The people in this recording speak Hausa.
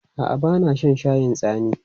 A'a, ba na shan shayin tsimi.